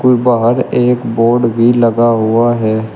और बाहर एक बोर्ड भी लगा हुआ है।